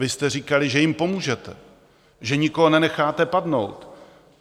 Vy jste říkali, že jim pomůžete, že nikoho nenecháte padnout.